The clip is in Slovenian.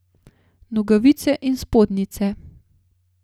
Nogavice in spodnjice.